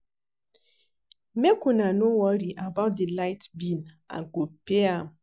Make una no worry about the light bill I go pay am